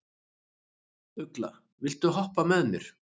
Ugla, viltu hoppa með mér?